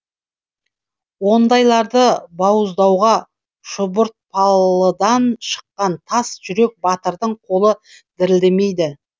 ондайларды бауыздауға шұбыртпалыдан шыққан тас жүрек батырдың қолы дірілдемейді